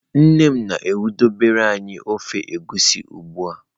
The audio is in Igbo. Nne m na-akwadebere anyi ofe Egusi ugbua.